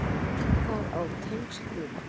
Það á tengsl víða.